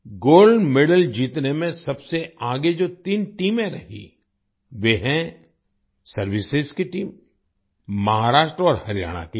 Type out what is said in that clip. gold medal जीतने में सबसे आगे जो तीन टीमें रहीं वे हैं सर्विसेस की टीम महाराष्ट्र और हरियाणा की टीम